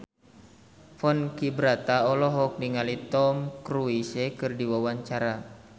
Ponky Brata olohok ningali Tom Cruise keur diwawancara